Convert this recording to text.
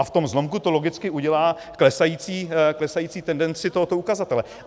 A v tom zlomku to logicky udělá klesající tendenci tohoto ukazatele.